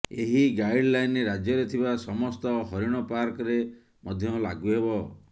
ଏହି ଗାଇଡ଼ଲାଇନ୍ ରାଜ୍ୟରେ ଥିବା ସମସ୍ତ ହରିଣ ପାର୍କରେ ମଧ୍ୟ ଲାଗୁ ହେବ